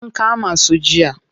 An kama su jiya.